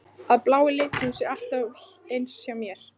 Að blái liturinn sé alltaf eins hjá mér?